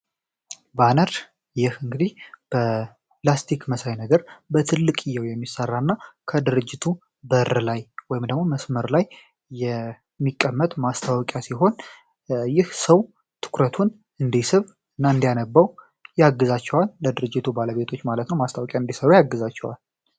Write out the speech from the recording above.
ባነር ይህ እንግዲ በላስቲክ መሳይ ነገር በትልቅ እየው የሚሠራ እና ከድርጅቱ በር ላይ ወይም ደሞ መስመር ላይ የሚቀመት ማስታወቂያ ሲሆን ይህ ሰው ትኩረቱን እንዲስብ እና እንዲያነባው ያግዛቸዋን ለድርጅቱ ባለቤቶች ማለት ነው ማስታወቂያ እንዲሰሩ ያግዛቸዋል።